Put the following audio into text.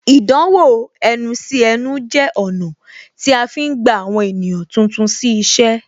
Ìdánwò ẹnu sí ẹnu jẹ ọ̀nà tí a fi ń gba àwọn ènìyàn tuntun sí iṣẹ́